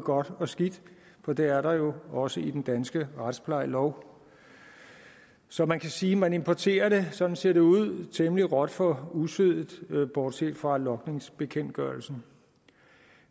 godt og skidt for det er der jo også i den danske retsplejelov så man kan sige at man importerer det sådan ser det ud temmelig råt for usødet bortset fra logningsbekendtgørelsen